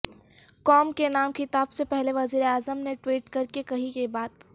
قوم کے نام خطاب سے پہلے وزیراعظم نے ٹوئیٹ کرکے کہی یہ بات